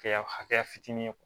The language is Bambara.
Kɛya hakɛya fitinin